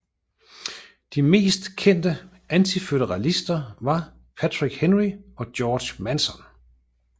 De mest kendte antiføderalister var Patrick Henry og George Mason